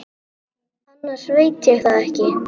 Berti er risinn á fætur.